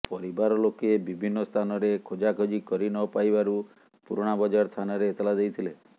ପରିବାର ଲୋକେ ବିଭିନ୍ନ ସ୍ଥାନରେ ଖୋଜାଖୋଜି କରି ନପାଇବାରୁ ପୁରୁଣାବଜାର ଥାନାରେ ଏତଲା ଦେଇଥିଲେ